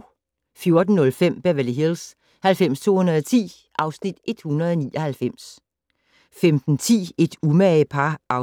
14:05: Beverly Hills 90210 (Afs. 199) 15:10: Et umage par (5:119)